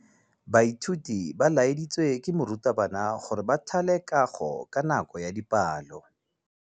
Baithuti ba laeditswe ke morutabana gore ba thale kagô ka nako ya dipalô.